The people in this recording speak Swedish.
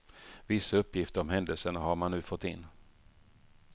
Vissa uppgifter om händelserna har man nu fått in.